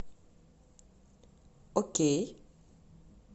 окей